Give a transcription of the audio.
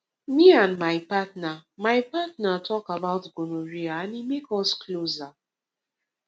me and my partner my partner talk about gonorrhea and e make us closer